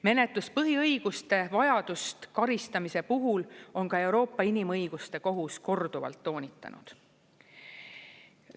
Menetluspõhiõiguste vajadust karistamise puhul on ka Euroopa Inimõiguste Kohus korduvalt toonitanud.